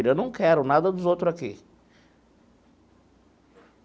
Eu não quero nada dos outro aqui.